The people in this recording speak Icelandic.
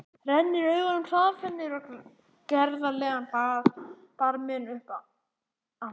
Rennir augunum hraðferð niður á gerðarlegan barminn og upp aftur.